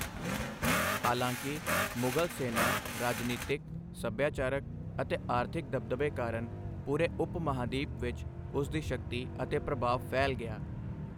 ਹਾਲਾਂਕਿ, ਮੁਗ਼ਲ ਸੈਨਾ, ਰਾਜਨੀਤਕ, ਸੱਭਿਆਚਾਰਕ ਅਤੇ ਆਰਥਿਕ ਦਬਦਬੇ ਕਾਰਨ ਪੂਰੇ ਉਪ ਮਹਾਂਦੀਪ ਵਿੱਚ ਉਸ ਦੀ ਸ਼ਕਤੀ ਅਤੇ ਪ੍ਰਭਾਵ ਫੈਲ ਗਿਆ।